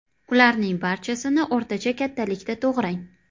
Ularning barchasini o‘rtacha kattalikda to‘g‘rang.